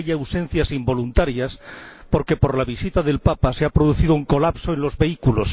Hay ausencias involuntarias porque, por la visita del Papa, se ha producido un colapso del tráfico.